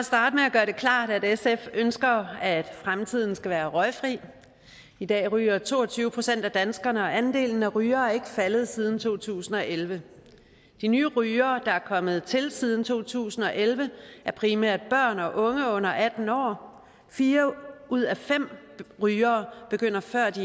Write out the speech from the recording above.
gøre det klart at sf ønsker at fremtiden skal være røgfri i dag ryger to og tyve procent af danskerne og andelen af rygere er ikke faldet siden to tusind og elleve de nye rygere der er kommet til siden to tusind og elleve er primært børn og unge under atten år og fire ud af fem rygere begynder før de